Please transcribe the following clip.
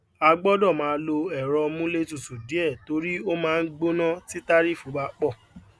a gbọdọ máa lo èrọ múlé tutù díẹ torí o máa n gbóná tí tarifu bá pọ